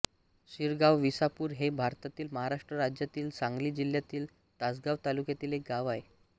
सिरगावविसापूर हे भारतातील महाराष्ट्र राज्यातील सांगली जिल्ह्यातील तासगांव तालुक्यातील एक गाव आहे